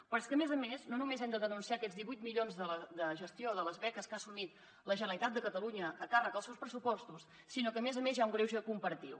però és que a més a més no només hem de denunciar aquests divuit milions de gestió de les beques que ha assumit la generalitat de catalunya a càrrec dels seus pressupostos sinó que a més a més hi ha un greuge comparatiu